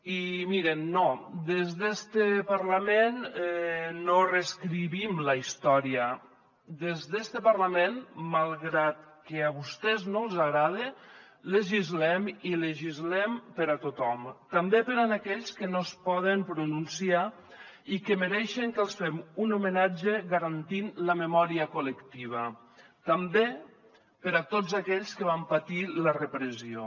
i mirin no des d’este parlament no reescrivim la història des d’este parlament malgrat que a vostès no els agrade legislem i legislem per a tothom també per a aquells que no es poden pronunciar i que mereixen que els fem un homenatge garantint la memòria col·lectiva també per a tots aquells que van patir la repressió